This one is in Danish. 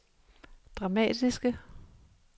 dramatiske